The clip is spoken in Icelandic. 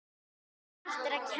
Svo margt hægt að gera.